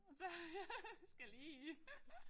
Og så ja skal lige